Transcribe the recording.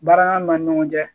Baara ni ɲɔgɔn cɛ